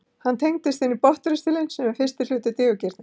hann tengist inn í botnristilinn sem er fyrsti hluti digurgirnis